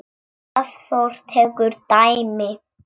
Hafþór tekur dæmi.